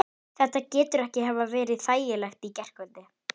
ef raunvirði fasteigna hlutafélags er hærra er bókfært verð þeirra.